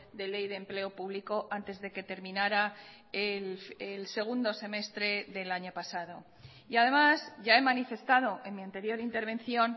de ley de empleo público antes de que terminara el segundo semestre del año pasado y además ya he manifestado en mi anterior intervención